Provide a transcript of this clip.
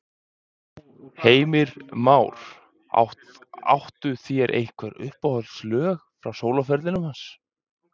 Heimir Már: Áttu þér einhver uppáhaldslög frá sólóferlinum hans?